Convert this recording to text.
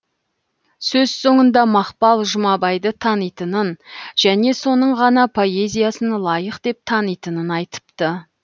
сөз соңында мақпал жұмабайды танитынын және соның ғана поэзиясын лайық деп танитынын айтыпты